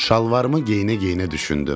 Şalvarımı geyinə-geyinə düşündüm.